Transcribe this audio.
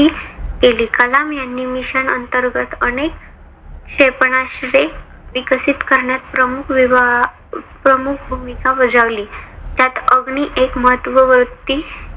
केली. कलाम यांनी mission अंतर्गत अनेक क्षेपणास्त्रे विकसित करण्यात प्रमुख विभा प्रमुख भूमिका बजावली. त्यात अग्नी एक महत्ववृत्त्ती